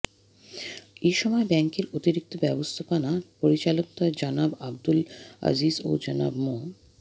এ সময় ব্যাংকের অতিরিক্ত ব্যবস্থাপনা পরিচালকদ্বয় জনাব আব্দুল আজিজ ও জনাব মো